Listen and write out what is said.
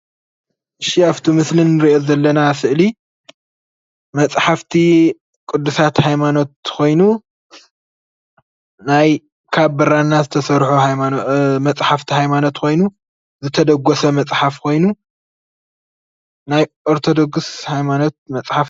እሺ ኣፍቲ ምስሊ ንሪኦ ዘለና ስእሊ መፅሓፍቲ ቅዱሳት ሃይማኖት ኾይኑ ናይ ካብ ብራና ዝተሰርሑ ሃይማኖት መፅሓፍቲ ሃይማኖት ኾየኑ ዝተደጎሰ መፅሓፍ ኾይኑ ኦርቶዶክስ ሃይማኖት መፅሓፍቲ